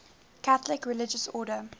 catholic religious order